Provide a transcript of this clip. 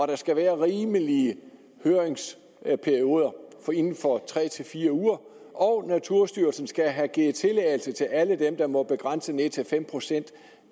der skal være rimelige høringsperioder inden for tre fire uger og naturstyrelsen skal have givet tilladelse til alle dem der må begrænse det ned til fem procent